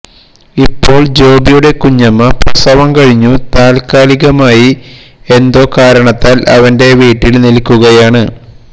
ഇപ്പോള് ജോബിയുടെ കുഞ്ഞമ്മ പ്രസവം കഴിഞ്ഞു താല്ക്കാലികമായി എന്തോ കാരണത്താല് അവന്റെ വീട്ടില് നില്ക്കുകയാണ്